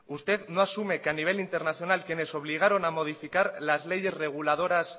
usted no asume que a nivel internacional quienes obligaron a modificar las leyes reguladoras